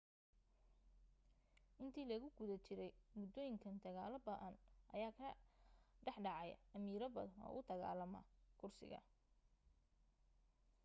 intii lagu guda jiray muddooyinkan dagaalo ba'an ayaa ka dhax dhacay amiiro badan oo u dagaalama kursiga